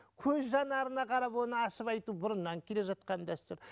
көз жанарына қарап оны ашып айту бұрыннан келе жатқан дәстүр